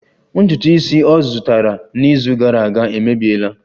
Ntutu isi ọ zụtara n'izu gara aga emebiela